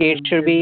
कि it should be